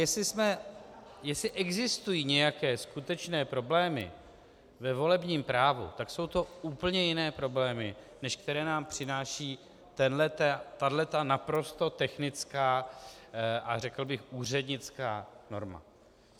Jestli existují nějaké skutečné problémy ve volebním právu, tak jsou to úplně jiné problémy, než které nám přináší tahle naprosto technická a řekl bych úřednická norma.